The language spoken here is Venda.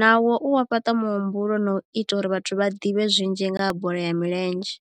nawo u wa fhaṱa muhumbulo na u ita uri vhathu vha ḓivhe zwinzhi nga ha bola ya milenzhe.